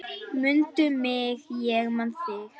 Mundu mig, ég man þig.